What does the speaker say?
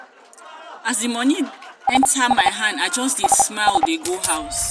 as di moni enta my hand i just dey smile dey go house.